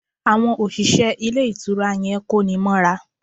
Àwon òṣìṣẹ́ Ilé Ìtura yan kóni móra